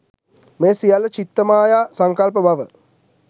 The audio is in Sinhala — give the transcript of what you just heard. මේ සියල්ල චිත්ත මාය සංකල්ප බව